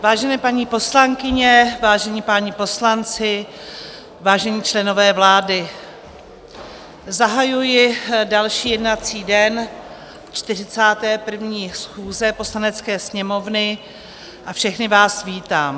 Vážené paní poslankyně, vážení páni poslanci, vážení členové vlády, zahajuji další jednací den 41. schůze Poslanecké sněmovny a všechny vás vítám.